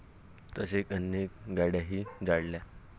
तसेच अनेक गाडय़ाही जाळल्या.